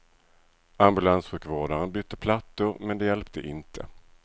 Ambulanssjukvårdaren bytte plattor men det hjälpte inte.